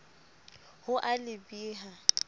ho a le b ha